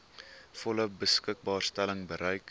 volle beskikbaarstelling bereik